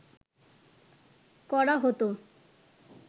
করা হতো